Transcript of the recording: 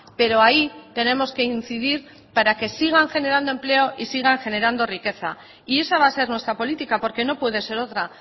pero ahí tenemos que incidir para que sigan generando empleo y sigan generando riqueza y esa va a ser nuestra política porque no puede ser otra